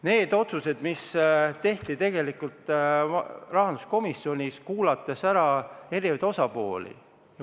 Need otsused tehti rahanduskomisjonis, olles kuulanud ära eri osapooled.